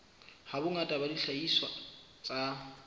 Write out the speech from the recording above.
ha bongata ba dihlahiswa tsa